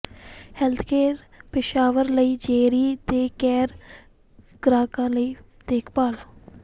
healthcare ਪੇਸ਼ਾਵਰ ਲਈ Jerry ਦੇ ਕੇਅਰ ਗ੍ਰਾਹਕਾਂ ਲਈ ਦੇਖਭਾਲ